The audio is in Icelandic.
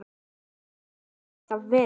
Svona hefur þetta alltaf verið.